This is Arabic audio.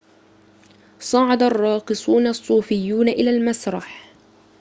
صعد الراقصون الصوفيون إلى المسرح